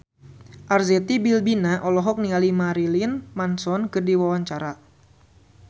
Arzetti Bilbina olohok ningali Marilyn Manson keur diwawancara